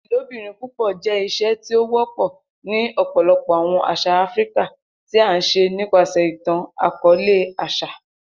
Ilobirin púpọ jẹ iṣe ti o wọpọ ni ọpọlọpọ awọn aṣa Afirika, ti a ṣe nipasẹ itan-akọọlẹ, aṣa.